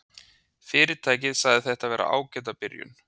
Fyrirtækið segir þetta vera ágæta byrjun